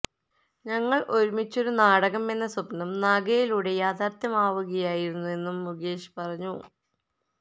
ഞങ്ങള് ഒരുമിച്ചൊരു നാടകം എന്ന സ്വപ്നം നാഗയിലൂടെ യാഥാര്ഥ്യമാവുകയായിരുന്നെന്നും മുകേഷ് പറഞ്ഞു